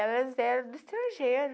Elas eram do estrangeiro.